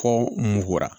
Fɔ muganra